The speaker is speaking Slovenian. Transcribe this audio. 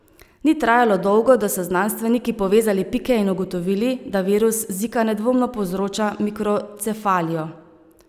Ni trajalo dolgo, da so znanstveniki povezali pike in ugotovili, da virus zika nedvomno povzroča mikrocefalijo.